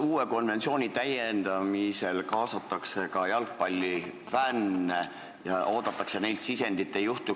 Kas konventsiooni täiendamisel kaasatakse ka jalgpallifänne ja oodatakse neilt sisendit?